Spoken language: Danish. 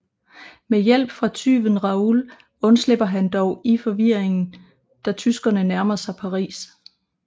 Med hjælp fra tyven Raoul undslipper han dog i forvirringen da tyskerne nærmer sig Paris